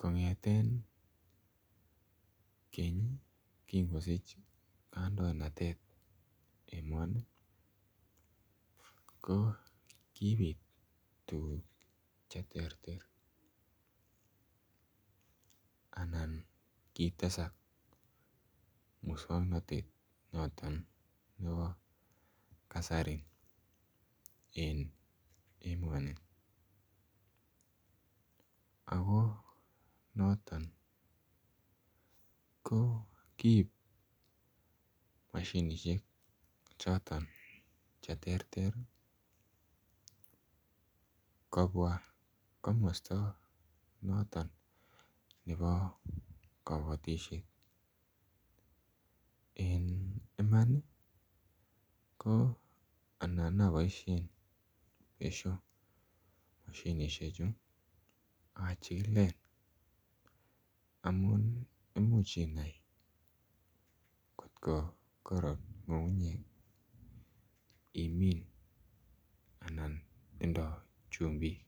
kongeten keny Kin kosich kandoinatet emoni ko kibit tuguk Che terter anan kitesak muswoknotet noton nebo Kasari en emoni ako noton ko kiib mashinisiek choton Che terter kobwa komosta noton nebo kabatisiet en Iman ko anan aboisien besio mashinisiek achikilen amun imuch inai kotgo karoron ngungunyek iminen anan tindoi chumbik